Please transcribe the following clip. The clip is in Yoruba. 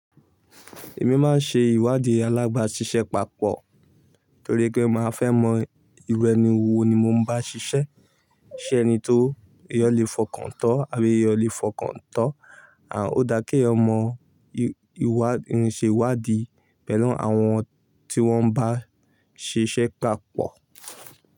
Èmi máa ń ṣe ìwádìí alábàáṣiṣẹ́ papọ̀ torí pé màá fẹ́ mọ irú ẹni wo ni mo ń bá ṣiṣẹ́. Ṣé ẹni tó èyán lè fọkàn tán àbí èyán lè fọkàn tán? Ó dá kí èyàn mọ ìwà ìrìnsèwádìí pẹ̀lú àwọn tí wọ́n bá ṣiṣẹ́ papọ̀